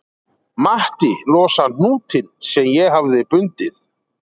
Matti losar hnútinn sem ég hafði bundið